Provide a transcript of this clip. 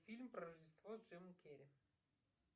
фильм про рождество с джимом керри